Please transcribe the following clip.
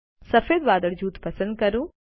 સફેદ વાદળ જૂથ પસંદ કરો